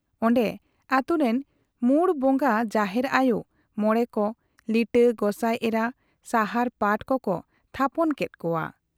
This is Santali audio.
ᱚᱱᱰᱮ ᱟᱹᱛᱩ ᱨᱤᱱ ᱢᱩᱬ ᱵᱚᱝᱜᱟ ᱡᱟᱦᱮᱨ ᱟᱭᱚ, ᱢᱚᱬᱮ ᱠᱚ ,ᱞᱤᱴᱟᱹ, ᱜᱚᱸᱥᱟᱭ ᱮᱨᱟ, ᱥᱟᱦᱟᱨ ᱯᱟᱴ ᱠᱚᱠᱚ ᱛᱷᱟᱯᱚᱱ ᱠᱮᱫ ᱠᱚᱣᱟ ᱾